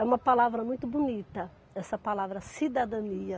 É uma palavra muito bonita, essa palavra cidadania.